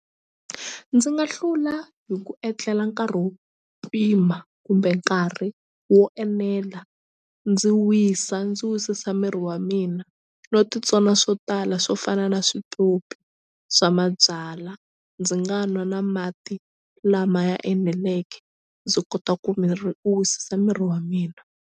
Ndzi nga hlula hi ku etlela nkarhi wo pima kumbe nkarhi wo enela ndzi wisa ndzi wisisa miri wa mina no ti swona swo tala swo fana na switopi swa mabyala ndzi nga nwa na mati lama ya eneleke ndzi kota ku miri u wisisa miri wa mina.